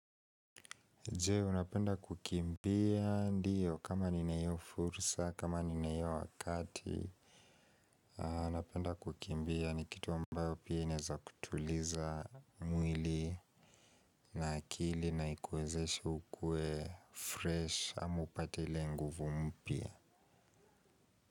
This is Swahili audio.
Je, unapenda kukimbia? Ndio kama nina hiyo fursa, kama nina hiyo wakati, napenda kukimbia ni kitu ambayo pia inaweza kutuliza mwili. Na akili na ikuwezeshe ukuwe fresh ama upate ile nguvu mpya.